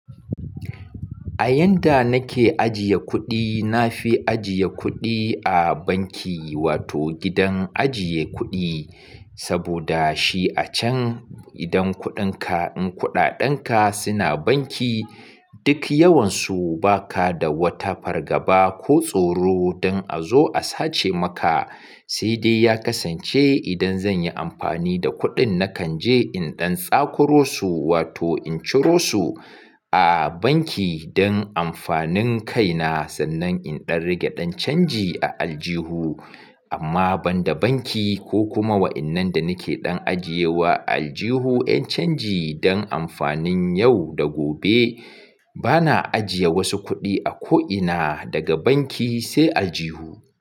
A yanda nake ajiye kuɗi, na fi ajiye kuɗi a banki wato gidan ajiye kuɗi. Saboda shi a can idan kuɗinka, in kuɗaɗenka suna banki, duk yawansu baka da wata fargaba ko tsoro don a zo a sace maka. Sai dai ya kasance idan zanyi amfani da kuɗin nakan je in ɗan tsakoro su wato in ciro su a banki don amfanin kaina sannan in ɗan rage don canji a aljihu. Amma banda banki ko kuma wayan nan da nake dan ajiye wa a aljuhu yan canji don amfanin yau da gobe bana ajiye wasu kudi a ko'ina daga banki sai aljuhu.